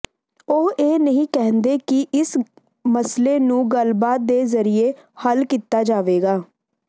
ਉਹ ਇਹ ਨਹੀਂ ਕਹਿੰਦੇ ਕਿ ਇਸ ਮਸਲੇ ਨੂੰ ਗੱਲਬਾਤ ਦੇ ਜ਼ਰੀਏ ਹੱਲ ਕੀਤਾ ਜਾਵੇਗਾ